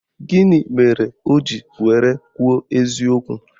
Gịnị mere o ji were kwuo eziokwu?